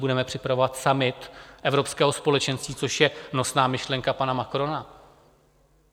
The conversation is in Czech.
Budeme připravovat summit Evropského společenství, což je nosná myšlenka pana Macrona.